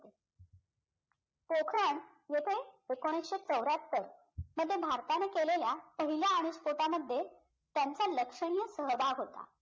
पोखरण येते एकोणीसशे चौर्ह्यात्तर मध्ये भारताने केलेल्या पहिल्या अनुस्पोटामध्ये त्यांचा लक्षणीय सहभाग होता.